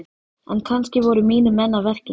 En kannski voru mínir menn að verki?